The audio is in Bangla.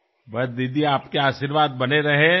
ব্যাস্ দিদি আপনার আশীস মাথায় থাক